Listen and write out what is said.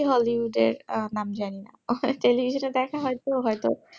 বেশি hollywood এর নাম জানিনা occasionally যেটা দেখা হয় হয়তো